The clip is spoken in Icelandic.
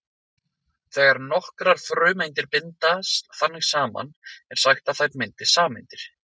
Þegar nokkrar frumeindir bindast þannig saman er sagt að þær myndi sameindir.